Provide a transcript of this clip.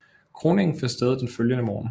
Kroningen fandt sted den følgende morgen